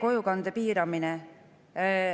Kojukannet piiratakse.